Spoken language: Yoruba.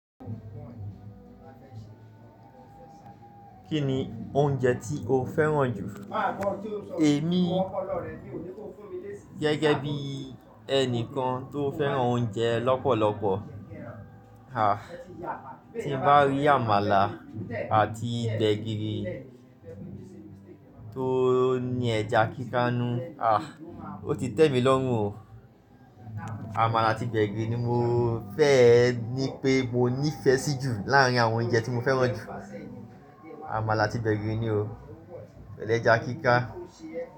Kí ni oúnjẹ tí o fẹ́ràn jù? Èmi gẹ́gẹ́ bí ẹnikan tó fẹ́ràn oúnjẹ lọ́pọ̀lọpọ̀. Ah, tí bá rí àmàlà àti gbẹ̀gìrì tó ní ẹja kíká nù, ah, ó ti tẹ́mi lọ́run o. Àmàlà àti gbẹ̀gìrì ni mo fẹ́ ní pé mo nífẹ̀ẹ́ sí jù láàárín àwọn oúnjẹ tí mo fẹ́ràn jù. Àmàlà àti gbẹ̀gìrì ni o. Pẹ̀lẹ́ ẹja kíká.